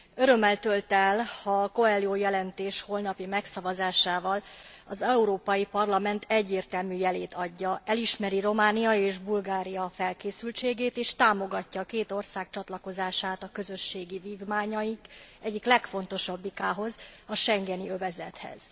Örömmel tölt el, ha a Coelho jelentés holnapi megszavazásával az Európai Parlament egyértelmű jelét adja elismeri Románia és Bulgária felkészültségét és támogatja a két ország csatlakozását a közösségi vívmányaink egyik legfontosabbikához, a schengeni övezethez.